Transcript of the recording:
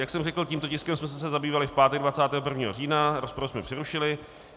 Jak jsem řekl, tímto tiskem jsme se zabývali v pátek 21. října, rozpravu jsme přerušili.